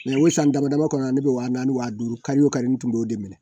o san damadama kɔnɔ ne bɛ wa naani wa duuru kari o kari ne tun b'o de minɛ